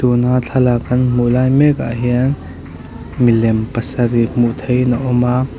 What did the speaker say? tuna thlalak kan hmuh lai mek ah hian milem pasarih hmuh theihin a awm a.